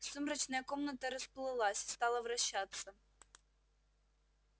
сумрачная комната расплылась стала вращаться